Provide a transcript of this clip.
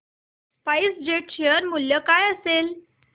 spice jet share चे मूल्य काय असेल